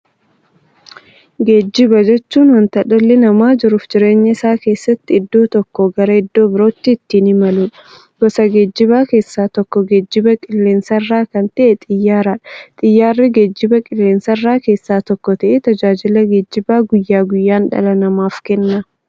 Geejjiba jechuun wanta dhalli namaa jiruuf jireenya isaa keessatti iddoo tokkoo gara iddoo birootti ittiin imaluudha. Gosa geejjibaa keessaa tokko geejjiba qilleensarraa kan ta'e Xiyyaaradha. Xiyyaarri geejjibaa qilleensarraa keessaa tokko ta'ee, tajaajila geejjibaa guyyaa guyyaan dhala namaaf kenna.